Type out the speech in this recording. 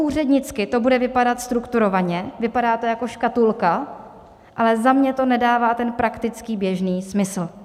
Úřednicky to bude vypadat strukturovaně, vypadá to jako škatulka, ale za mě to nedává ten praktický běžný smysl.